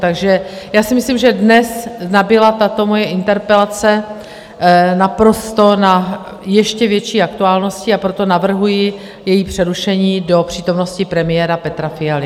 Takže já si myslím, že dnes nabyla tato moje interpelace naprosto na ještě větší aktuálnosti, a proto navrhuji její přerušení do přítomnosti premiéra Petra Fialy.